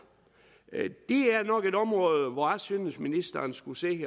det er nok et område hvor jeg synes ministeren skulle se